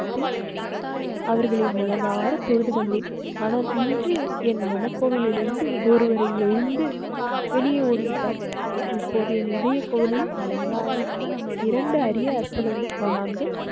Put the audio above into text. அவர்களை மனதார தொழுது வந்தேன். ஆனால் இன்று என் மனக்கோவில் இருந்து ஒருவரை எழுந்து வெளியே ஓடி விட்டார். இப்போது என் இதய கோவில் அலங்கா இருக்கும். இரண்டு அறிய அற்புத மகான்கள்